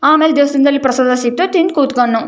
ಆಮೇಲೆ ದೇವಸ್ಥಾನದಲ್ಲಿ ಪ್ರಸಾದ ಸಿಕ್ರೆ ತಿಂದು ಕುತ್ಕೊನ್ನೋ.